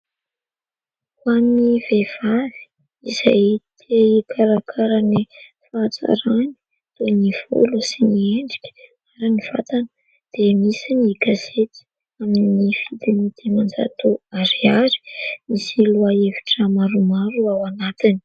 Ho an'ny vehivavy izay te hikarakara ny fahatsarany toy : ny volo sy ny endrika ary ny vatana dia misy ny gazety amin'ny vidiny dimanjato ariary, misy lohahevitra maromaro ao anatiny.